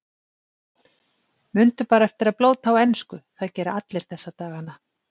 Mundu bara eftir að blóta á ensku, það gera allir þessa dagana.